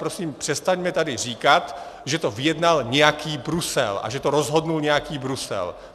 Prosím, přestaňme tady říkat, že to vyjednal nějaký Brusel a že to rozhodl nějaký Brusel.